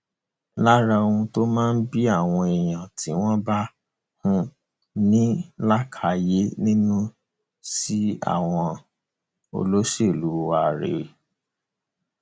lára ohun tó máa ń bí àwọn èèyàn tí wọn bá um ní làákàyè nínú sí àwọn um olóṣèlú wá rèé